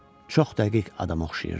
Çox dəqiq adama oxşayırdı.